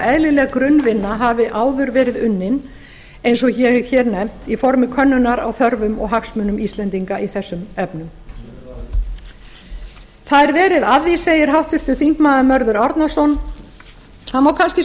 eðlileg grunnvinna hafi áður verið unnin eins og ég hef hér nefnt í formi könnunar á þörfum og hagsmunum íslendinga í þessum efnum það er verið að því segir háttvirtur þingmaður mörður árnason það má kannski